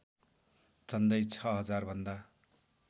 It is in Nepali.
झन्डै ६००० भन्दा